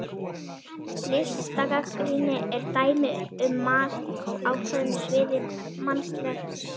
Listgagnrýni er dæmi um mat á ákveðnu sviði mannlegs samfélags.